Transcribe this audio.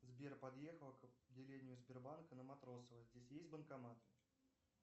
сбер подъехал к отделению сбербанка на матросова здесь есть банкомат